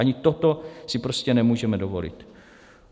Ani toto si prostě nemůžeme dovolit.